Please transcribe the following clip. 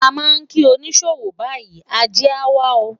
a ma ki onisowow bayi, Aje a wa o